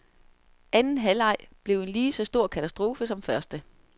Anden halvleg blev en lige så stor katastrofe som første.